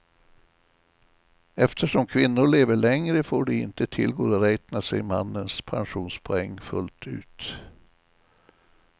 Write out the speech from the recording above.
Eftersom kvinnor lever längre får de inte tillgodoräkna sig mannens pensionspoäng fullt ut.